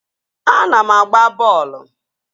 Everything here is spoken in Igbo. Ana m agba bọọlụ